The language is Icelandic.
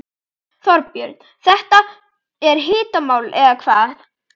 Þorbjörn, þetta er hitamál eða hvað?